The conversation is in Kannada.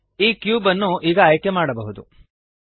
ಈ ಕ್ಯೂಬ್ಅನ್ನು ಈಗ ಆಯ್ಕೆಮಾಡಬಹುದು